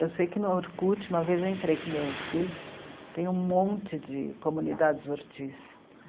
Eu sei que no Orkut, uma vez eu entrei com o meu filho, tem um monte de comunidades Ortiz.